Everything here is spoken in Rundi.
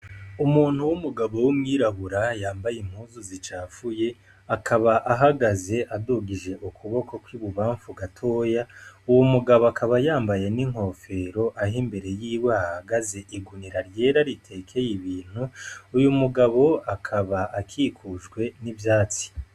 Umuntu w'umugabo w'umwirabura yambaye zicafuye akaba ahagaze adugije ukuboko kw'ibubafu gatoya uwo mugabo akaba yambaye n'inkofero ahimbere yiwe hahagaze igunira ryera ritekeye ibintu uyu mugabo akaba akikujwe n'ivyatsi.